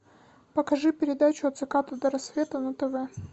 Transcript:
покажи передачу от заката до рассвета на тв